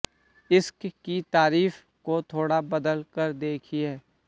इश्क की तारीफ को थोड़ा बदल कर देखिए